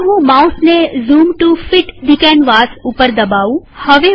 ચાલો હું માઉસને zoom to fit the canvas પર દબાવું